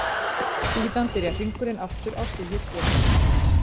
Síðan byrjar hringurinn aftur á stigi tvö.